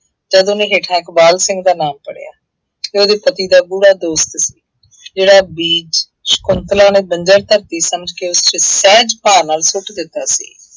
ਜਦ ਉਹਨੇ ਹੇਠਾਂ ਇਕਬਾਲ ਸਿੰਘ ਦਾ ਨਾਮ ਪੜ੍ਹਿਆ। ਜੋ ਉਹਦੇ ਪਤੀ ਦਾ ਗੂੜ੍ਹਾ ਦੋਸਤ ਸੀ। ਜਿਹੜਾ ਬੀਜ ਸ਼ੰਕੁਤਲਾ ਨੂੰ ਬੰਜ਼ਰ ਧਰਤੀ ਸਮਝ ਕੇ ਉਸ ਚ ਸਹਿਜ ਭਾਅ ਨਾਲ ਸੁੱਟ ਦਿੱਤਾ ਸੀ।